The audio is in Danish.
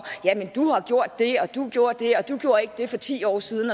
ja men du har gjort det og du gjorde det og du gjorde ikke det for ti år siden